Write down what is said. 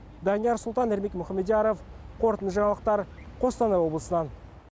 данияр сұлтан ермек мұхамедияров қорытынды жаңалықтар қостанай облысынан